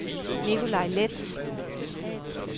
Nicolaj Leth